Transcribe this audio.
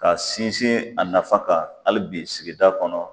Ka sinsin a nafa kan ali bi sigida kɔnɔ